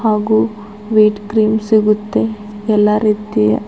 ಹಾಗು white cream ಸಿಗುತ್ತೆ ಎಲ್ಲಾ ರೀತಿಯ--